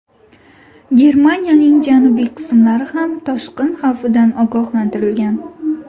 Germaniyaning janubiy qismlari ham toshqin xavfidan ogohlantirilgan.